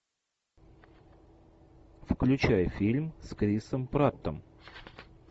включай фильм с крисом праттом